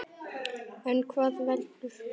En hvað veldur?